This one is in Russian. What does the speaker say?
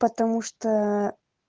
потому что